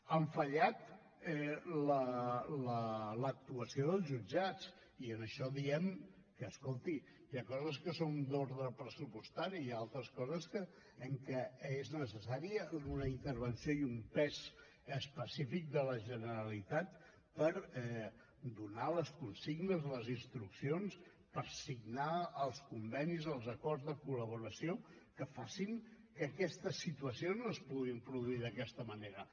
ha fallat l’actuació dels jutjats i en això diem que escolti hi ha coses que són d’ordre pressupostari i altres coses en què és necessària una intervenció i un pes específic de la generalitat per donar les consignes les instruccions per signar els convenis els acords de col·laboració que facin que aquestes situacions no es puguin produir d’aquesta manera